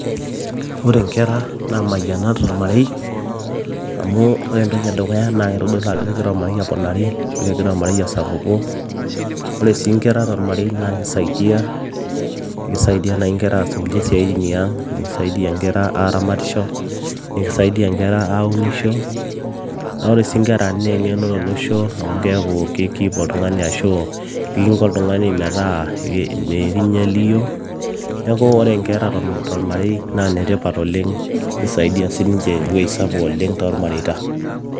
ore inkera naa imayianat tormarei amu ore entoki edukuya naa kitodolu ajo kegira ormarei aponari ashu kegira ormarei asapuku ore sii inkera tormarei naa kisaidia, kisaidia naaji inkera aas nkulie siaitin iang ekisaidia inkera aramatisho nikisaidia inkera aunisho naa ore sii inkera naa eng'eno tolosho amu keeku ki keep oltung'ani ashu ekinko oltung'ani metaa mikinya eliyio neeku ore inkera tormarei naa inetipat oleng kisaidia sininche ewueji sapuk oleng tormareita.